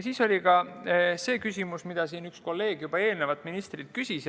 Siis oli küsimus, mida üks kolleeg siin ennist juba ministrilt küsis.